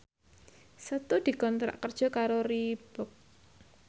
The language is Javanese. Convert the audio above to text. Setu dikontrak kerja karo Reebook